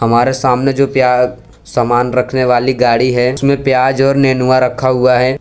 हमारे सामने जो प्या सामान रखने वाली गाड़ी है उसमें प्याज और नेनुआ रखा हुआ है।